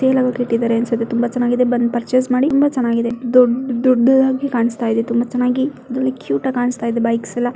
Tell ಹಾಗಿ ಇಟ್ಟಿದ್ದಾರೆ ಅನಸತ್ತೆ । ತುಂಬಾ ಚನ್ನಾಗಿದೆ ಬಂದ ಪಾರ್ಚಸ್ ಮಾಡಿ ತುಂಬಾ ಚನ್ನಾಗಿದೆ ದೊಡ್ಚ್ ದೊಡ್ಚ್ ಆಗಿ ಕಾಣಸ್ತಾ ಇದೆ । ತುಂಬಾ ಚನ್ನಾಗಿ ರಿಯಲಿ ಕ್ಯೂಟ್ ಕಾಣಸ್ತಾ ಬೈಕ್ಸ್ ಎಲ್ಲಾ --